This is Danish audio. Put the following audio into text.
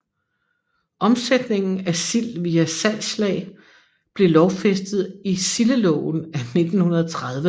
Omsætningen af sild via salgslag blev lovfæstet i Sildeloven af 1930